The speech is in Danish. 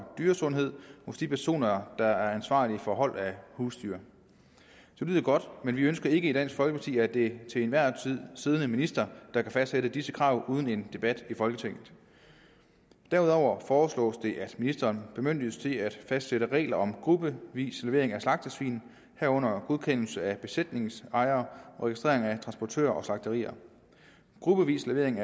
dyresundhed hos de personer der er ansvarlige for hold af husdyr det lyder godt men vi ønsker ikke i dansk folkeparti at det er den til enhver tid siddende minister der kan fastsætte disse krav uden en debat i folketinget derudover foreslås det at ministeren bemyndiges til at fastsætte regler om gruppevis levering af slagtesvin herunder godkendelse af besætningens ejere og registrering af transportører og slagterier gruppevis levering